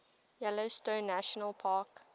yellowstone national park